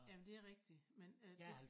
Jamen det rigtig men øh det